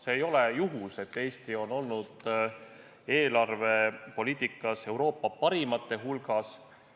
See ei ole juhus, et Eesti on olnud eelarvepoliitikas Euroopa parimate hulgas.